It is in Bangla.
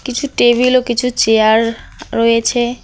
কিছু টেবিল ও কিছু চেয়ার রয়েছে।